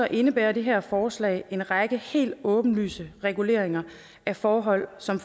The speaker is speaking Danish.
indebærer det her forslag en række helt åbenlyse reguleringer af forhold som